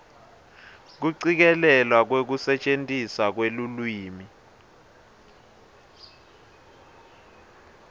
kucikelelwa kwekusetjentiswa kwelulwimi